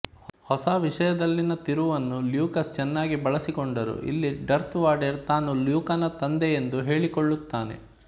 ಹೊಸ ವಿಷಯದಲ್ಲಿನ ತಿರುವನ್ನು ಲ್ಯೂಕಾಸ್ ಚೆನ್ನಾಗಿ ಬಳಸಿಕೊಂಡರು ಇಲ್ಲಿ ಡರ್ತ್ ವಾಡೆರ್ ತಾನು ಲ್ಯೂಕನ ತಂದೆಯೆಂದು ಹೇಳಿಕೊಳ್ಳುತ್ತಾನೆ